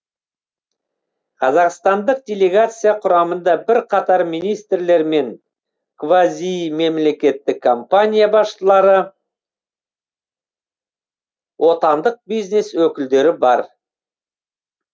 қазақстандық делегация құрамында бірқатар министрлер мен квазимемлекеттік компания басшылары отандық бизнес өкілдері бар